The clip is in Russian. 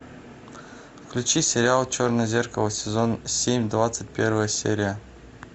включи сериал черное зеркало сезон семь двадцать первая серия